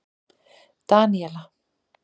Daníela